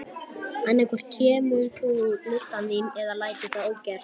Annað hvort kemur þú lyddan þín eða lætur það ógert.